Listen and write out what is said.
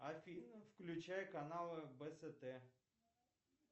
афина включай канал бст